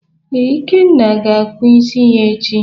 Ee, Ikenna ga-akpụ isi ya echi.